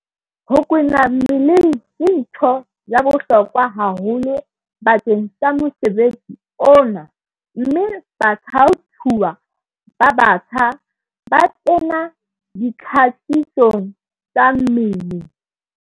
Ho kwena mmeleng ke ntho ya bohlokwa haholo bakeng sa mosebetsi ona mme bathaothuwa ba batjha ba kena ditlhakisong tsa mmele.